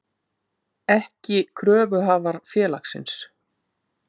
ekki kröfuhafar félagsins.